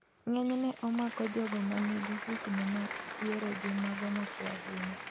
Ng'enyne omako jogo manigi higni ma diere gi mago machwe ahinya